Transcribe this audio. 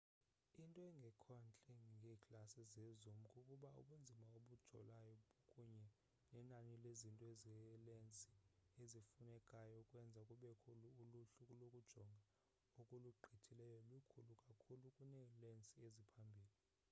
into engekhontle ngeeglasi zezoom kukuba ubunzima obujolayo kunye nenani lezinto zelensi ezifunekayo ukwenza kubekho uluhlu lokujonga okulugqithileyo likhulu kakhulu kuneelensi eziphambili